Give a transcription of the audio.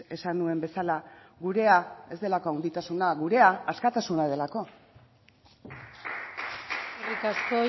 esan nuen bezala gurea ez delako handitasuna gurea askatasuna delako eskerrik asko